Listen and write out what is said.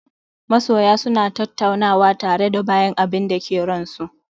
Masoya suna tattaunawa tare da bayan abinda ke ran su